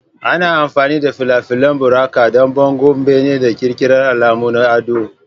Ana amfani da fale-falen buraka don bangon bene, da ƙirƙirar alamu na ado.